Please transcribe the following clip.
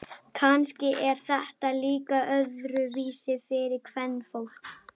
Kannski er þetta líka öðruvísi fyrir kvenfólk.